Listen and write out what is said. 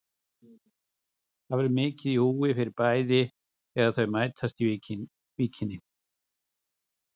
Það var mikið í húfi fyrir bæði lið þegar þau mættust í Víkinni.